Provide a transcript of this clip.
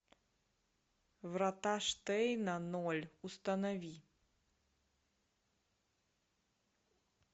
врата штейна ноль установи